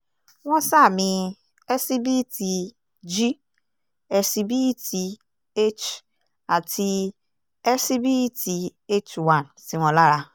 wọ́n sàmì ẹ́síbíìtì g eṣíbíìtì h àti ẹsibítíìtì h one sí wọn lára